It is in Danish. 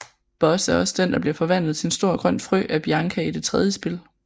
Buzz er også den der bliver forvandlet til en stor grøn frø af Bianca i det tredje spil